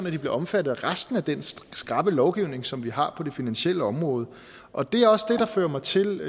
at de bliver omfattet af resten af den skrappe lovgivning som vi har på det finansielle område og det er også det der fører mig til